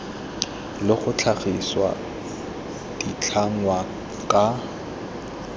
le go tlhagisa ditlhangwa ka